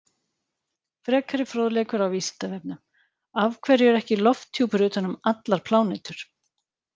Frekari fróðleikur á Vísindavefnum: Af hverju er ekki lofthjúpur utan um allar plánetur?